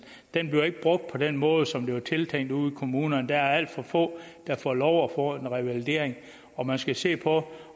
den bliver ikke brugt på den måde som det var tiltænkt ude i kommunerne der er alt for få der får lov til at få en revalidering og man skal se på